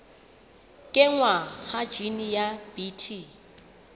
kenngwa ha jine ya bt